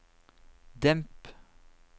demp